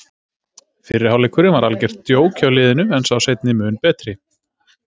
Fyrri hálfleikurinn var algert djók hjá liðinu en sá seinni mun betri.